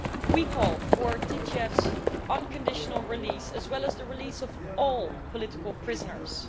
We call for Titiev's unconditional release, as well as the release of all political prisoners.